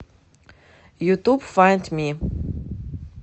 ютуб файнд ми